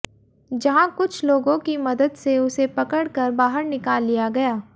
जहां कुछ लोगों की मदद से उसे पकड़ कर बाहर निकाल लिया गया